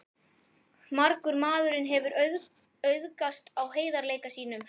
Margur maðurinn hefur auðgast á heiðarleika sínum.